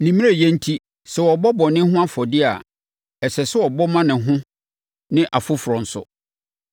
Ne mmerɛyɛ enti, sɛ ɔrebɔ bɔne ho afɔdeɛ a, ɛsɛ sɛ ɔbɔ ma ne ho ne afoforɔ nso.